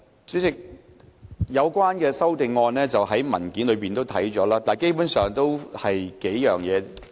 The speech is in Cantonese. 主席，有關修訂已載列在文件中，基本上涉及數點。